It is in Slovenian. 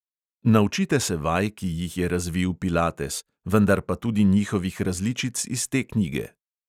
Naučite se vaj, ki jih je razvil pilates, vendar pa tudi njihovih različic iz te knjige.